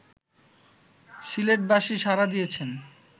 সিলেটবাসী সাড়া দিয়েছেন